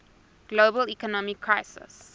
global economic crisis